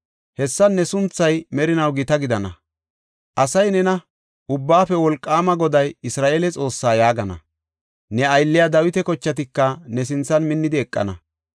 Hessan ne sunthay merinaw gita gidana. Asay nena, ‘Ubbaafe Wolqaama Goday Isra7eele Xoossaa’ yaagana. Ne aylliya Dawita kochatika ne sinthan minnidi eqana.